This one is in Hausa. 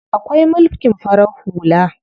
Akwai mulkin farar hula.